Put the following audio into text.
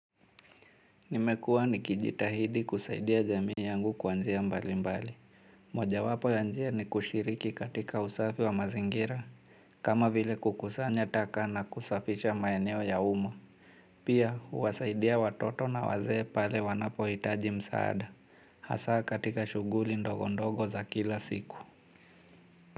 Nimekuwa nikijitahidi kusaidia jamii yangu kwa njia mbali mbali. Mojawapo ya njia ni kushiriki katika usafi wa mazingira. Kama vile kukusanya taka na kusafisha maeneo ya umma pia huwasaidia watoto na wazee pale wanapo hitaji msaada. Hasa katika shughuli ndogo ndogo za kila siku.